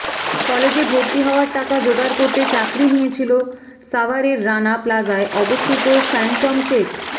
কলেজে ভর্তি হওয়ার টাকা জোগাড় করতে চাকরি নিয়েছিল সাভারের রানা প্লাজায় অবস্থিত ফ্যানটম টেক